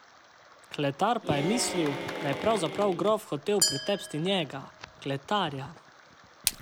Kletar pa je mislil, da je pravzaprav grof hotel pretepsti njega, kletarja.